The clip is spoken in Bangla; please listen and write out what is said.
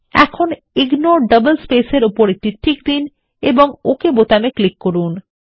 এখন ইগনোর ডাবল স্পেসেস এর উপর একটি টিক দিন এবং ওক বাটনে ক্লিক করুন